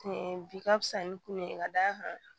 bi ka fisa ni kun ye ka d'a kan